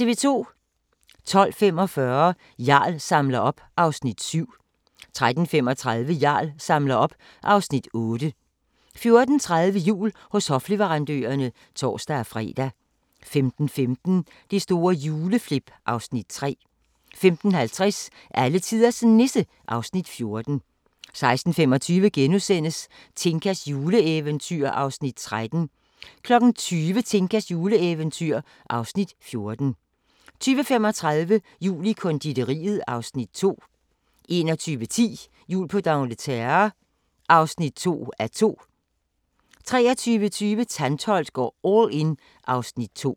12:45: Jarl samler op (Afs. 7) 13:35: Jarl samler op (Afs. 8) 14:30: Jul hos hofleverandørerne (tor-fre) 15:15: Det store juleflip (Afs. 3) 15:50: Alletiders Nisse (Afs. 14) 16:25: Tinkas juleeventyr (Afs. 13)* 20:00: Tinkas juleeventyr (Afs. 14) 20:35: Jul i konditoriet (Afs. 2) 21:10: Jul på d'Angleterre (2:2) 23:20: Tantholdt går all in (Afs. 2)